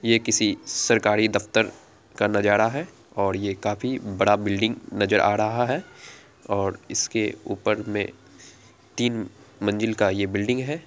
यह किसी सरकारी दफ्तर का नजारा है और ये काफी बड़ा बिल्डिंग नजर आ रहा है और इसके ऊपर में तीन मंजिल का ये बिल्डिंग है।